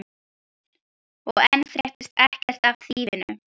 Og enn fréttist ekkert af þýfinu.